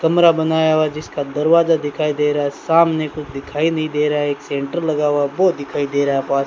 कमरा बनाया हुआ है जिसका दरवाजा दिखाई दे रहा है सामने कुछ दिखाई नहीं दे रहा है एक सेंटर लगा हुआ है वो दिखाई दे रहा है पास --